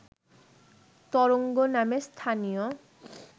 তরঙ্গ নামে স্থানীয়